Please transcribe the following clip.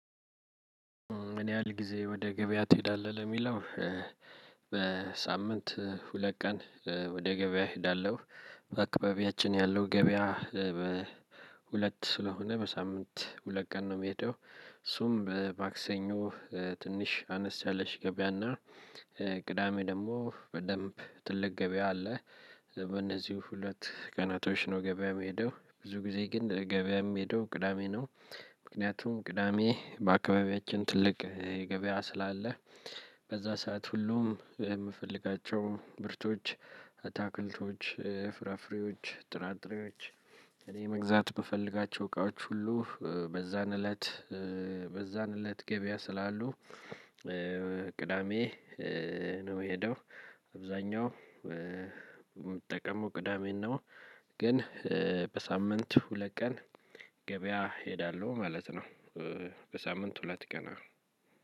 ምን ያህል ጊዜ ወደ ገበያ ትሄዳለህ ለሚለው? በሳምንት ሁለት ቀን ወደ ገበያ እሄዳለሁ። በአካባቢያችን ያለው ገበያ በሁለት ስለሆነ በሳምንት ሁለት ቀን ነው ምሄደው እሱም በማክሰኞ ትንሽ አነስ ያለሽ ገበያና ቅዳሜ ደሞ በደንብ ትልቅ ገበያ አለ። በእነዚህ ሁለት ቀናቶች ነው ገበያ የምሄደው ብዙ ጊዜ ግን ገበያ የምሄደው ቅዳሜ ነው። ምክንያቱም ቅዳሜ በአካባቢያችን ትልቅ የገበያ ስላለ። በዛ ሰዓት ሁሉም የምፈልጋቸው ምርቶች አታክልቶች ፍራፍሬዎች ጥራጥሬዎች። እኔ መግዛት ምፈልጋቸው እቃዎች ሁሉ በዛን እለት በዛን እለት ገበያ ስላሉ። ቅዳሜ ነው የሄደው። አብዛኛው የምጠቀሙ ቅዳሜን ነው። ግን በሳምንት ሁለት ቀን ገበያ ሄዳለሁ ማለት ነው። በሳምንት ሁለት ቀን